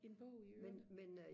en bog i ørerne